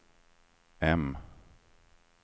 M